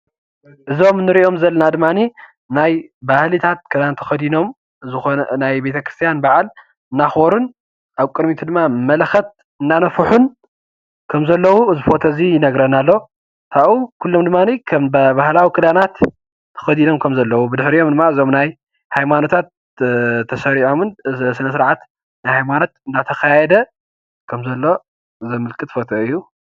አዞም እንሪኦም ዘለና ድማ ናይ ባህልታት ክዳን ተከዲኖም ዝኾነ ናይ ቤተክርስትያን በዓል እንዳኽበሩን ኣብ ቅድሚቱ ድማ መለኸት እንዳነፍሑን ከም ዘለዉ እዚ ፎቶ እዚ ይነግረና ኣሎ። ካብኡ ድማ ኩሎም ድማ ባህላዊ ክዳናት ተከዲኖም ከም ዘለዉ። ብድሕሪኦም ድማ ናይ ሃይማኖታት ተሰሪዖምን ስነስርዓት ናይ ሃማኖት እንዳተካየደ ከም ዘሎ ዘምልክት ፎቶ እዩ።